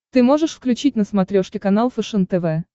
ты можешь включить на смотрешке канал фэшен тв